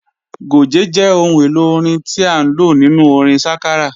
Gòjé jẹ́ ohun èlò orin tí à ń lò nínú orin sákárà